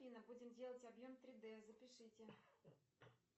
афина будем делать объем три дэ запишите